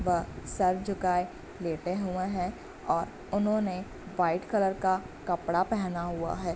वह सर झुकाए लेटे हुए हैं और उन्होंने व्हाइट कलर का कपड़ा पहना हुआ है।